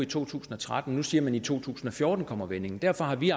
to tusind og tretten nu siger man at i to tusind og fjorten kommer vendingen derfor har vi